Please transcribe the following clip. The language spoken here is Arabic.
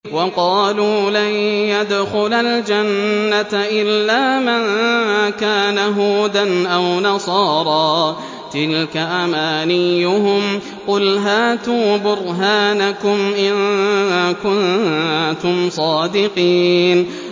وَقَالُوا لَن يَدْخُلَ الْجَنَّةَ إِلَّا مَن كَانَ هُودًا أَوْ نَصَارَىٰ ۗ تِلْكَ أَمَانِيُّهُمْ ۗ قُلْ هَاتُوا بُرْهَانَكُمْ إِن كُنتُمْ صَادِقِينَ